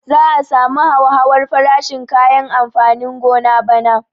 Za a samu hauhawar farashin kayan amfanin gona bana